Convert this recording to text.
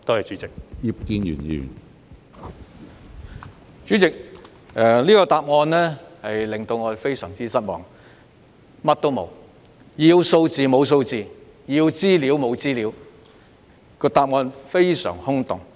主席，局長的答覆令我非常失望，當中沒有提供所要求的數字和資料，非常空洞。